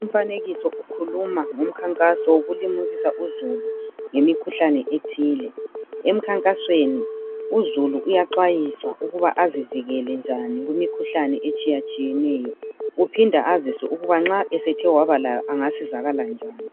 Umfanekiso ukhuluma ngomkhankaso wokulimukisa uzulu ngemikhuhlane ethile. Emkhankasweni uzulu uyaxwayiswa ukuba azivikele njani kumikhuhlane etshiyatshiyeneyo. Uphinda aziswe ukuba nxa esethe wabalayo angasizakala njani.